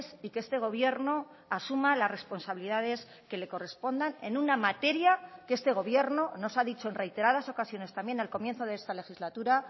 y que este gobierno asuma las responsabilidades que le correspondan en una materia que este gobierno nos ha dicho en reiteradas ocasiones también al comienzo de esta legislatura